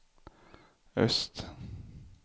öst